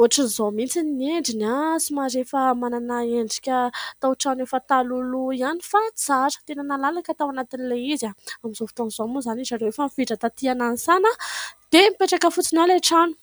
Ohatr'izao mihitsy ny endriny ; somary efa manana endrika taotrano efa talohaloha ihany fa tsara ; tena nalalaka tao anatin'ilay izy. Amin'izao fotoan'izao moa izany izy ireo efa nifindra taty Nanisana dia mipetraka fotsiny ao ilay trano.